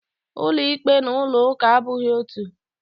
Ulo ikpe na ulo uka abughi otu.